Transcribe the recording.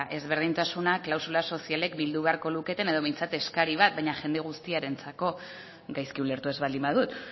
ezberdintasunak klausula sozialek bildu beharko luketen edo behintzat eskari bat baina jende guztiarentzako gaizki ulertu ez baldin badut